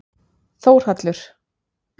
Þórhallur